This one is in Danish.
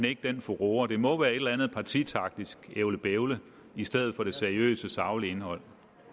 ikke den furore det må være et eller andet partitaktisk ævlebævle i stedet for det seriøse saglige indhold